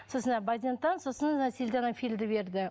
сосын базентан сосын силденафилді берді